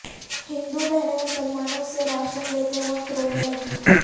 ہندو بہنیں مسلمانوں سے راشن لیتے وقت رونے لگی